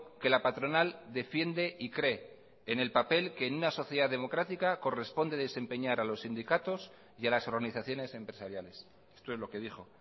que la patronal defiende y cree en el papel que en una sociedad democrática corresponde desempeñar a los sindicatos y a las organizaciones empresariales esto es lo que dijo